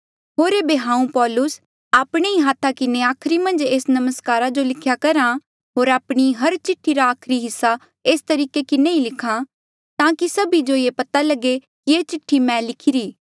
होर ऐबे हांऊँ पौलुस आपणे ही हाथा किन्हें आखरी मन्झ एस नमस्कारा जो लिख्या करहा हांऊँ आपणी हर चिठ्ठी रा आखरी हिस्सा एस तरीके किन्हें ही लिख्हा ताकि सभी जो ये पता लगे कि ये चिठ्ठी मैं ही लिखिरी